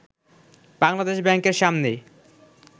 বাংলাদেশ ব্যাংকের সামনে